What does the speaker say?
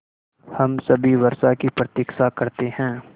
हम सभी वर्षा की प्रतीक्षा करते हैं